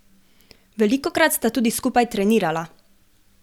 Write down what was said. Velikokrat sta tudi skupaj trenirala.